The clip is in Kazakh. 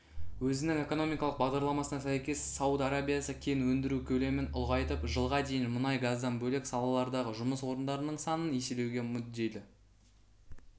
өзінің экономикалық бағдарламасына сәйкес сауд арабиясы кен өндіру көлемін ұлғайтып жылға дейін мұнай-газдан бөлек салалардағы жұмыс орындарының санын еселеуге мүдделі